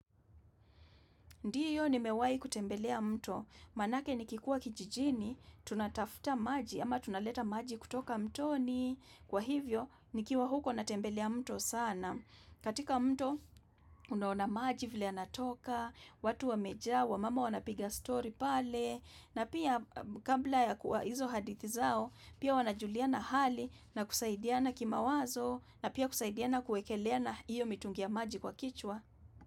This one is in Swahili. Ndiyo nimewai kutembelea mto, manake ni kikuwa kijijini, tunatafuta maji ama tunaleta maji kutoka mtoni, kwa hivyo nikiwa huko natembelea mto sana. Katika mto, unaona maji vile yanatoka, watu wamejaa, wamama wanapiga story pale, na pia kabla ya kuwa hizo hadithi zao, pia wanajuliana hali na kusaidiana kimawazo, na pia kusaidiana kuekeleana hiyo mitungi ya maji kwa kichwa.